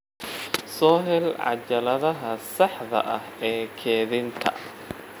Soo hel cajaladaha saxda ah ee kaydinta